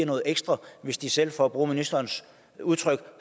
noget ekstra hvis de selv for at bruge ministerens udtryk